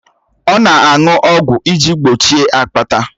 Ọ na-aṅụ ọgwụ iji gbochie akpata